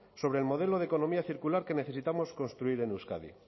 sobre el modelo de economía circular que necesitamos construir en euskadi